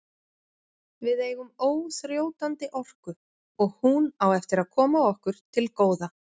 Við eigum óþrjótandi orku og hún á eftir að koma okkur til góða.